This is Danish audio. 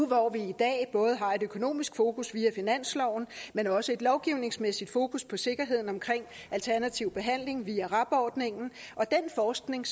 når vi i dag både har et økonomisk fokus via finansloven men også et lovgivningsmæssigt fokus på sikkerheden omkring alternativ behandling via rab ordningen og den forskning